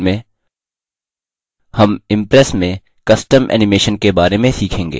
इस tutorial में हम impress में custom animation के बारे में सीखेंगे